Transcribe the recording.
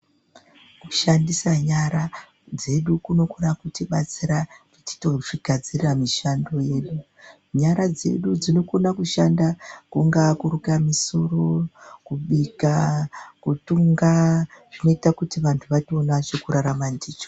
Kushandisa nyara dzedu kunokona kutibatsira kuti titozvigadzirira mishando yedu. Nyara dzedu dzinokona kushanda kungaa kuruka musoro, kubika, kutunga zvinoita kuti vantu vatoona chekurarama ndicho.